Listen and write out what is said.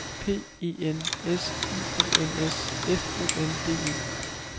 P E N S I O N S F O N D E